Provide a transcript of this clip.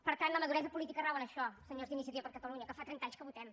per tant la maduresa política rau en això senyors d’iniciativa per catalunya que fa trenta anys que votem